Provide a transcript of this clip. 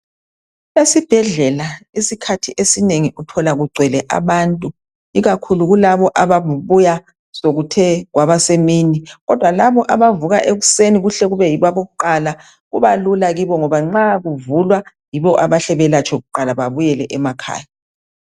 Esibhedlela isikhathi esinengi uthola kugcwele abantu. Ikakhulu kulaba ababuya sekuthe kwaba semini. Kodwa labo abavuka ekuseni, kuhle kube yibo abokuqala. Kuba lula kibo, ngoba nxa kuvulwa yibo abahle belatshwe kuqaia. Babuyele emakhaya.